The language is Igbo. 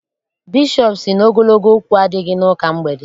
Bishọp sị na ogologo okwu adịghị n'ụka mgbede.